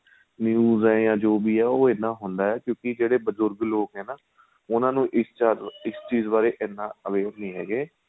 news ਏ ਜਾਂ ਜੋ ਵੀ ਏ ਉਹ ਇਹਦਾ ਹੁੰਦਾ ਏ ਕਿਉਂਕਿ ਜਿਹੜੇ ਬਜੁਰਗ ਲੋਕ ਏ ਨਾ ਉਹਨਾ ਨੂੰ ਇਸ ਚੀਜ ਬਾਰੇ ਇਹਨਾ aware ਨਹੀਂ ਹੈਗੇ